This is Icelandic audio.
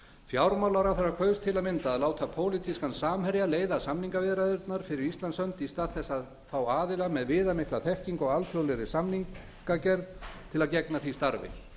fjármálaráðherra kaus til að mynda að láta pólitískan samherja leiða samningaviðræðurnar fyrir íslands hönd í stað þess að fá aðila með viðamikla þekkingu á alþjóðlegri samningagerð til að gegna því starfi